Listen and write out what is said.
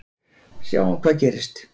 Sjáum hvað gerist.